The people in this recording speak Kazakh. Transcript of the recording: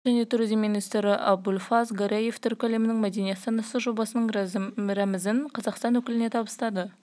әзербайжанның мәдениет және туризм министрі абульфаз гараев түркі әлемінің мәдени астанасы жобасының рәмізін қазақстан өкіліне табыстады